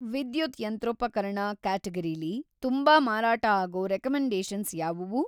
ವಿದ್ಯುತ್ ಯಂತ್ರೋಪಕರಣ ಕ್ಯಾಟಗರೀಲಿ ತುಂಬಾ ಮಾರಾಟ ಆಗೋ ರೆಕಮೆಂಡೇಷನ್ಸ್‌ ಯಾವುವು?